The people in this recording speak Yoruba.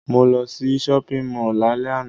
Mo lo sí shopping mall lálẹ́ àná